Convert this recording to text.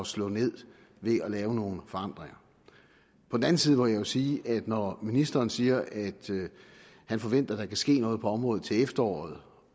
slå ned ved at lave nogle forandringer på den anden side må jeg jo sige at når ministeren siger at han forventer at der kan ske noget på området til efteråret